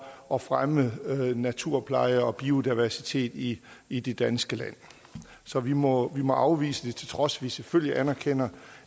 at fremme naturpleje og biodiversitet i i det danske land så vi må må afvise det til trods vi selvfølgelig anerkender